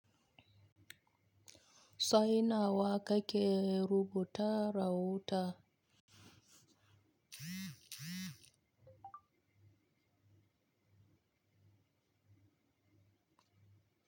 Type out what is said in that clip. Saina wa ka ke rubuta rahoton?